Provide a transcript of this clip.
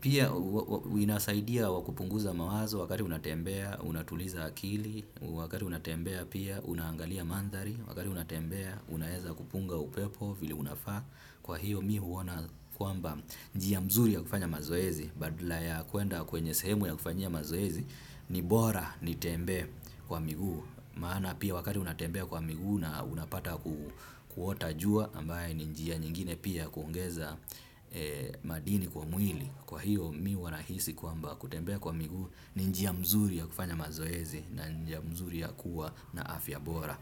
pia inasaidia wa kupunguza mawazo wakati unatembea unatuliza akili, wakati unatembea pia unaangalia mandhari. Wakati unatembea unaeza kupunga upepo. Vile unafa kwa hiyo mi huwona kwamba njia mzuri ya kufanya mazoezi. Badala ya kwenda kwenye sehemu ya kufanyia mazoezi. Ni bora nitembee kwa miguu. Maana pia wakati unatembea kwa miguu. Na unapata kuota jua ambaye ni njia nyingine pia ya kuongeza madini kwa mwili. Kwa hiyo mi huwa nahisi kwamba kutembea kwa miguu. Ni njia mzuri ya kufanya mazoezi. Na njia mzuri ya kuwa na afya bora.